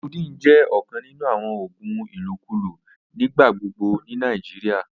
Codeine jẹ nkan ninu awon oògùn ilokulo nigbagbogbo ni Nigeria.